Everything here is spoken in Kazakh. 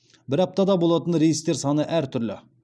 бір аптада болатын рейстер саны әр түрлі